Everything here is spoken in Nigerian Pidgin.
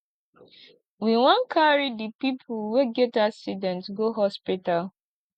we wan carry di pipo wey get accident go hospital